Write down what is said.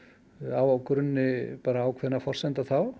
á grunni ákveðinna forsendna þá